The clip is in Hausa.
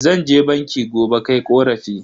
Zan je banki gobe kai korafi.